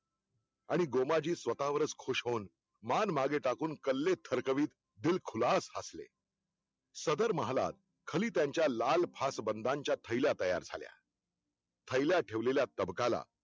आणि गोमाजी स्वतःवरच खुश होऊन मान मागे टाकून कल्ले थरकवीत दिल खुलासा हासले. सदर महालात खलीत्यांच्या लाल फास बंधांच्या थैल्या तयार झाल्या थैल्या ठेवल्या तबगाला